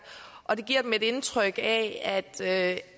og det giver dem et indtryk af